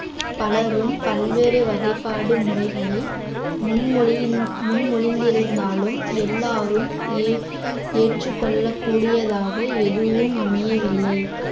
பலரும் பல்வேறு வகைப்பாடு முறைகளை முன்மொழி~ முன்மொழிந்திருந்தாலும் எல்லாரும் ஏற்~ ஏற்றுக் கொள்ளக் கூடியதாக எதுவும் அமையவில்லை